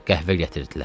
Qəhvə gətirdilər.